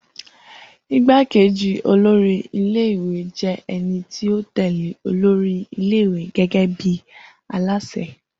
Igbákejì olórí ilé ìwé jẹ́ ẹni tí ó tẹ̀lẹ́ olórí ilé ìwé gẹ́gẹ́ bí aláṣẹ